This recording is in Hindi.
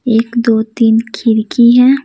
एक दो तीन खिरकी है।